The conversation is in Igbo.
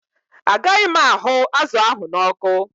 Ágaghi m ahụ́ azụ ahụ n'ọkụ